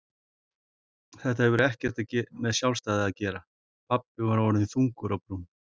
Þetta hefur ekkert með sjálfstæði að gera pabbi var orðinn þungur á brún.